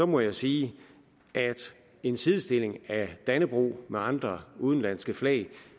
må jeg sige at en sidestilling af dannebrog med andre udenlandske flag